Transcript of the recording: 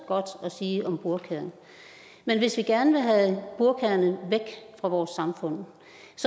godt at sige om burkaerne men hvis vi gerne vil have burkaerne væk fra vores samfund